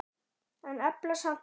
En efla samt herinn.